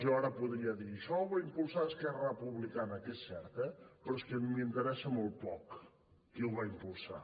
jo ara podria dir això ho va impulsar esquerra republicana que és cert eh però és que m’interessa molt poc qui ho va impulsar